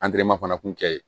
fana kun kɛ yen